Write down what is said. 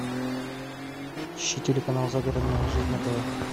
ищи телеканал загородная жизнь на тв